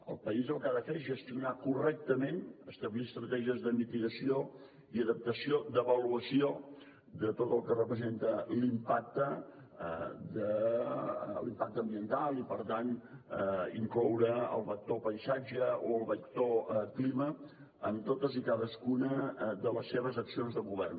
el país el que ha de fer és gestionar correctament establir estratègies de mitigació i d’adaptació d’avaluació de tot el que representa l’impacte ambiental i per tant incloure el vector paisatge o el vector clima en totes i cadascuna de les seves accions de govern